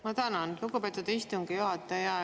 Ma tänan, lugupeetud istungi juhataja!